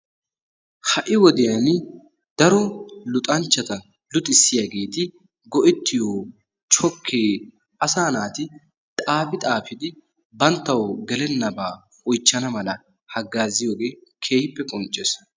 Ha"i wodiyan daro luxanchchata luxissiyaageti go"ettiyo chokkee asaa naati xaafi xaafidi banttawu gelennaba oychchana mala haggaazziyoogee keehippe qoncces.